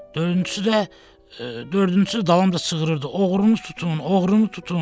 Dördüncüsü də dördüncüsü də dalınca çığırırdı, oğrulu tutun, oğrulu tutun.